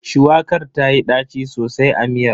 Shuwakar tayi ɗaci sosai a miyar.